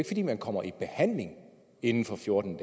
fordi man kommer i behandling inden for fjorten